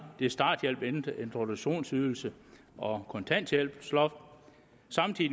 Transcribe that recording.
det er starthjælp introduktionsydelse og kontanthjælpsloft sammen